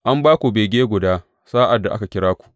An ba ku bege guda sa’ad da aka kira ku.